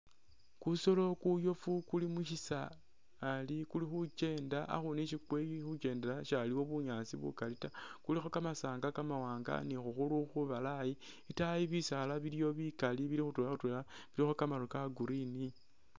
Kusoolo kuyofu kuli mushisali kulikhukyenda akhuunu isi kulikhukyendela shaliwo bunyaasi bukaali taa kulikho kamasanga kamawanga ni khukhuru khubalayi, itaayi bisaala biliyo bikaali bili khutwela khutwela ilikho kamaru ka'green